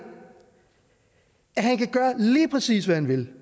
at han kan gøre lige præcis hvad han vil